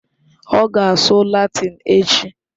Ọ ga-asụ Latịn echi